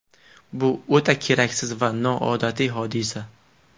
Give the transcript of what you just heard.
Bu o‘ta keraksiz va noodatiy hodisa.